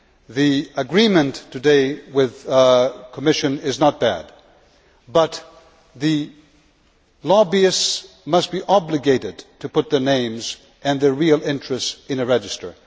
The agreement today with the Commission is not bad, but lobbyists must be obliged to put their names and their real interests in a register.